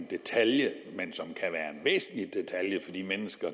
detalje for de mennesker